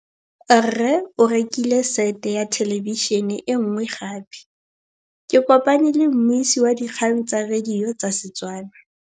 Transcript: Rre o rekile sete ya thêlêbišênê e nngwe gape. Ke kopane mmuisi w dikgang tsa radio tsa Setswana.